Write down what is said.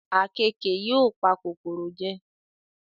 Àkekèé yóò pa kòkòrò jẹ